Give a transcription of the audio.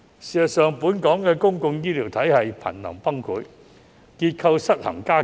事實上，本港公共醫療體系頻臨崩潰，結構失衡加劇。